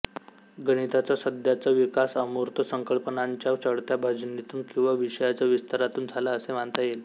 गणिताचा सध्याचा विकास अमूर्त संकल्पनांच्या चढत्या भाजणीतून किंवा विषयाच्या विस्तारातून झाला असे मानता येईल